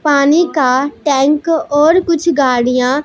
पानी का टैंक और कुछ गाड़ियां--